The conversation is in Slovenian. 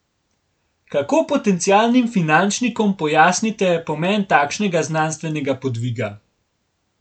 Kako potencialnim finančnikom pojasnite pomen takšnega znanstvenega podviga?